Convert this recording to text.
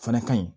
O fana ka ɲi